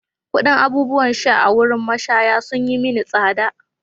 Kuɗin abubuwan sha a wurin mashaya sun yi mini tsada.